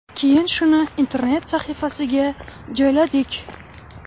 Keyin shuni internet sahifasiga joyladik.